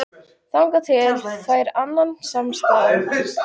Þangað til hann fær annan samastað